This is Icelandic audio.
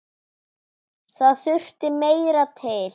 Það þurfti meira til.